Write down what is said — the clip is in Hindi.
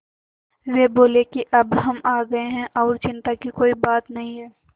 वे बोले कि अब हम आ गए हैं और चिन्ता की कोई बात नहीं है